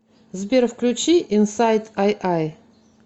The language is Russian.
сбер включи инсайт айай